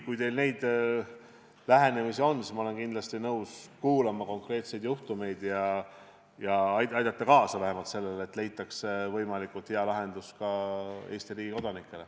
Kui te midagi teate, siis ma olen kindlasti nõus konkreetsed juhtumid ära kuulama ja aitama kaasa, et leitaks võimalikult hea lahendus ka Eesti riigi kodanikele.